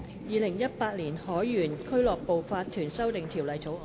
《2018年海員俱樂部法團條例草案》。